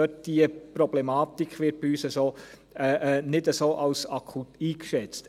Die Problematik wird bei uns nicht als so akut eingeschätzt.